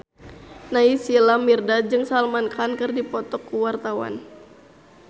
Naysila Mirdad jeung Salman Khan keur dipoto ku wartawan